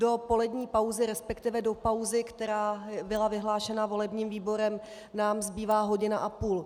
Do polední pauzy, respektive do pauzy, která byla vyhlášena volebním výborem, nám zbývá hodina a půl.